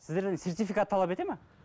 сіздерден сертфикат талап етеді ме